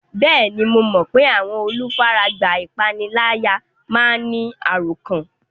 Bẹ́ẹ̀ni, mo mọ pé àwọn olùfaragbá ìpániláyà máa ń ní àròkán